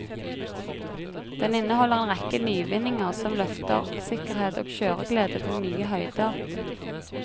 Den inneholder en rekke nyvinninger som løfter sikkerhet og kjøreglede til nye høyder.